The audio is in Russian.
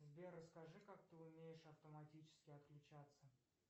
сбер расскажи как ты умеешь автоматически отключаться